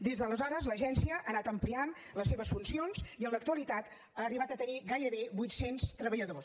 des d’aleshores l’agència ha anat ampliant les seves funcions i en l’actualitat ha arribat a tenir gairebé vuit cents treballadors